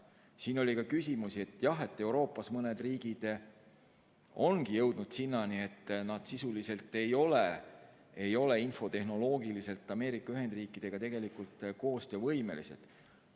Siin oli ka küsimusi selle kohta, jah, et Euroopas mõned riigid ongi jõudnud sinnani, et nad sisuliselt ei ole infotehnoloogiliselt Ameerika Ühendriikidega tegelikult koostöövõimelised.